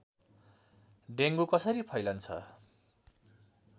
dengue कसरी फैलन्छ